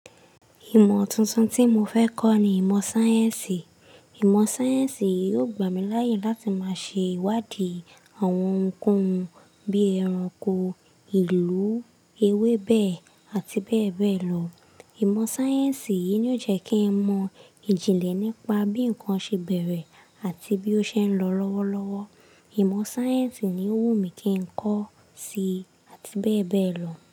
Ìmọ̀ tuntun tí mo fẹ́ kọ́ ni ìmọ̀ sáyẹ́ǹsì. Ìmọ̀ sáyẹ́ǹsì yóò gbà mí láyè láti máa ṣe ìwádìí àwọn ohunkóhun bíi ẹranko, ìlú, ewébẹ̀ àti bẹ́ẹ̀ bẹ́ẹ̀ lọ. Ìmọ̀ sáyẹ́ǹsì yìí ni ó jẹ́ kí n mọ ìjìnlẹ̀ nípa bí nnkan ṣe bẹ̀rẹ̀ àti bí ó ṣe ń lọ lọ́wọ́lọ́wọ́. Ìmọ̀ sáyẹ́ǹsì ni ó wù mí kí n kọ́ síi àti bẹ́ẹ̀ bẹ́ẹ̀ lọ.